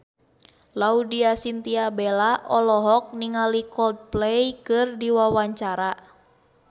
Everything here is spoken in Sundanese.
Laudya Chintya Bella olohok ningali Coldplay keur diwawancara